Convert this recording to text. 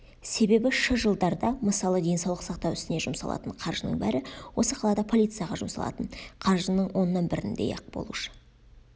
себебі шы жылдарда мысалы денсаулық сақтау ісіне жұмсалатын қаржының бәрі осы қалада полицияға жұмсалатын қаржының оннан біріндей-ақ болушы